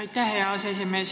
Aitäh, hea aseesimees!